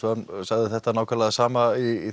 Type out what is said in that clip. sagði þetta nákvæmlega það sama í